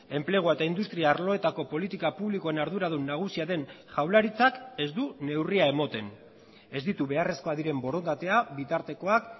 enplegua eta industria arloetako politika publikoen arduradun nagusia den jaurlaritzak ez du neurria ematen ez ditu beharrezkoak diren borondatea bitartekoak